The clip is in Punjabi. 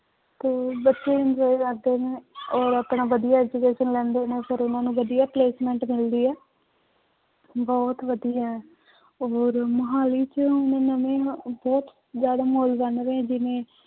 ਤੇ ਬੱਚੇ enjoy ਕਰਦੇ ਨੇ ਔਰ ਆਪਣਾ ਵਧੀਆ education ਲੈਂਦੇ ਨੇ ਫਿਰਇਹਨਾਂ ਨੂੰ ਵਧੀਆ placement ਮਿਲਦੀ ਹੈ ਬਹੁਤ ਵਧੀਆ ਹੈ ਔਰ ਮੁਹਾਲੀ ਚ ਬਹੁਤ ਜ਼ਿਆਦਾ ਮਾਲ ਬਣ ਰਹੇ ਜਿਵੇਂ